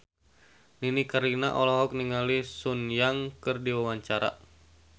Nini Carlina olohok ningali Sun Yang keur diwawancara